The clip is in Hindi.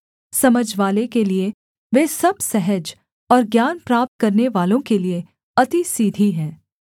समझवाले के लिये वे सब सहज और ज्ञान प्राप्त करनेवालों के लिये अति सीधी हैं